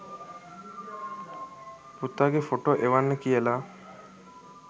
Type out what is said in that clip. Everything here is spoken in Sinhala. පුතාගේ ෆොටෝ එවන්න කියලා.